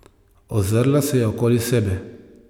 Ozrla se je okoli sebe.